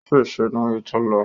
Ó ṣèṣé níbi tó lọ